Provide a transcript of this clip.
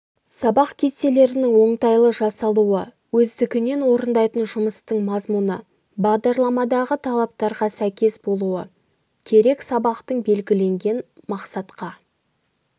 сабақ кестелерінің оңтайлы жасалуы өздігінен орындайтын жұмыстың мазмұны бағдарламадағы талаптарға сәйкес болуы керек сабақтың белгіленген мақсатқа